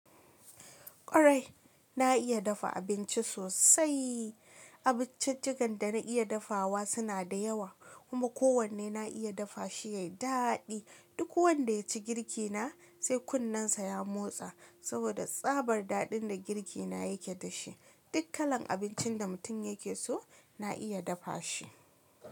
Kwarai, na iya dafa abinci sosai. Abinciccigan da na iya dafawa suna da yawa, kuma kowanne na iya dafa shi ya yi daɗi. Duk wanda ya ci girki na sai kunnensa ya motsa saboda tsabar daɗin da girki na yake da shi. Duk kalan abincin da mutum yake so na iya dafa shi.